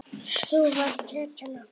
Þú varst hetjan okkar.